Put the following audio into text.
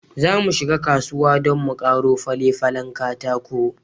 Zamu shiga kasuwa don mu karo fale-falen katako.